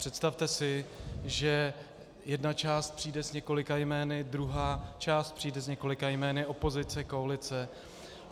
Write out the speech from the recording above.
Představte si, že jedna část přijde s několika jmény, druhá část přijde s několika jmény, opozice, koalice.